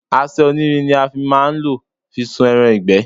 Àṣẹ onírin ni a má a nlò fi sun ẹran ìgbẹ́